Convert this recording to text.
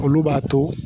Olu b'a to